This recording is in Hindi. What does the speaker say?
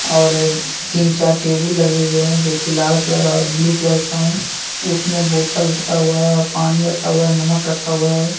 और तीन चार टेबुल लगे हुए हैं जो कि लाल कलर और ब्ल्यू कलर का हैं उसमें बोतल रखा हुआ है और पानी रखा हुआ है नमक रखा हुआ है।